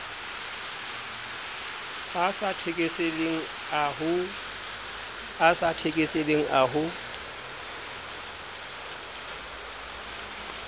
a sa thekeseleng a ho